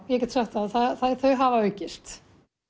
ég get sagt það já þau hafa aukist